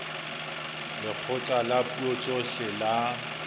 lekgotla la dipuo tsohle la